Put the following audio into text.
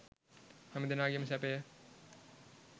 හැම දෙනාගේම සැපය